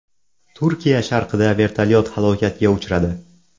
Turkiya sharqida vertolyot halokatga uchradi.